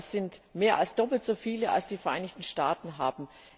Das sind mehr als doppelt so viele, als die Vereinigten Staaten haben.